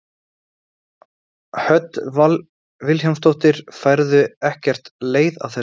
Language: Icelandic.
Hödd Vilhjálmsdóttir: Færðu ekkert leið á þessu?